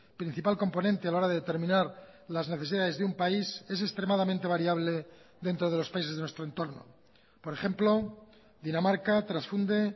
principal componente a la hora de determinar las necesidades de un país es extremadamente variable dentro de los países de nuestro entorno por ejemplo dinamarca transfunde